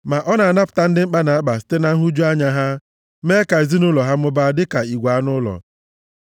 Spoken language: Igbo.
Ma ọ na-anapụta ndị mkpa na-akpa site na nhụju anya ha, mee ka ezinaụlọ ha mụbaa dịka igwe anụ ụlọ.